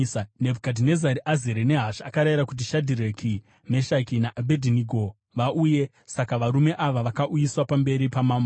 Nebhukadhinezari azere nehasha, akarayira kuti Shadhireki, Meshaki naAbhedhinego vauye. Saka varume ava vakauyiswa pamberi pamambo,